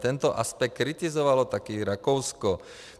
Tento aspekt kritizovalo taky Rakousko.